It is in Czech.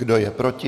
Kdo je proti?